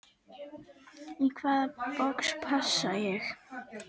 Í hvaða box passa ég?